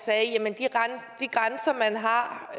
sagde at de grænser man har